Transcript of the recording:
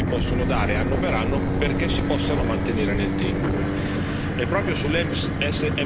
Significa quello che gli stock ci possono dare, anno per anno, perché si possano mantenere nel tempo.